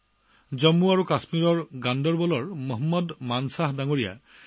উদাহৰণ স্বৰূপে জম্মুকাশ্মীৰৰ গণ্ডাৰবলৰ মহম্মদ মানছা জী